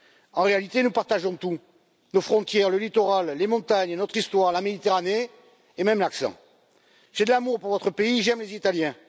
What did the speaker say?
En réalité, nous partageons tout nos frontières, le littoral, les montagnes, notre histoire, la Méditerranée et même l'accent. J'ai de l'amour pour votre pays, j'aime les Italiens.